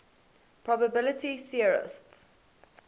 probability theorists